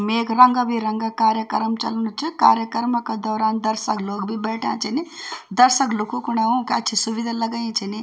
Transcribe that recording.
मे यख रंगा-बिरंगा कार्यक्रम चलनू च कार्यक्रम का दौरान दर्शक लोग बि बैठया छिन दर्शक लुखू खुंण ऊका अच्छी सुविधा लगयीं छिनी।